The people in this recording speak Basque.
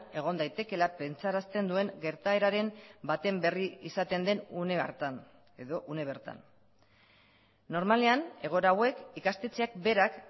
egon daitekeela pentsarazten duen gertaeraren baten berri izaten den une hartan edo une bertan normalean egoera hauek ikastetxeak berak